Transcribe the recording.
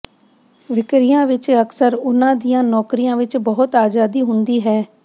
ਵਿਕਰੀਆਂ ਵਿਚ ਅਕਸਰ ਉਨ੍ਹਾਂ ਦੀਆਂ ਨੌਕਰੀਆਂ ਵਿਚ ਬਹੁਤ ਆਜ਼ਾਦੀ ਹੁੰਦੀ ਹੈ